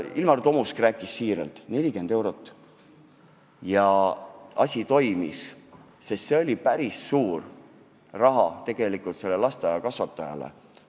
Ilmar Tomusk ju kinnitas, et ka 40 eurot toimis, sest see oli päris suur raha ühele konkreetsele lasteaiakasvatajale.